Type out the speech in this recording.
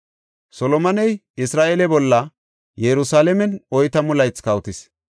Solomoney Isra7eele bolla Yerusalaamen oytamu laythi kawotis.